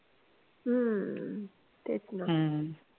हम्म तेच ना